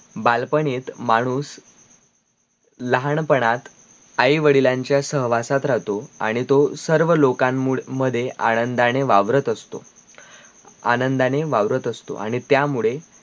बालपनित माणूस लहानपणात, आई-वडिलांच्या सहवासात राहतो आणी तो सर्वलोकन मध्ये आनंदाने वावरत असतो आनंदाने वावरत असतो आणी त्या मुळे